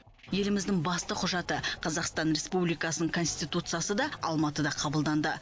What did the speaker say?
еліміздің басты құжаты қазақстан республикасының конституциясы да алматыда қабылданды